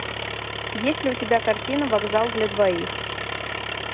есть ли у тебя картина вокзал для двоих